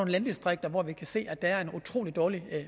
landdistrikter hvor vi kan se at der er en utrolig dårlig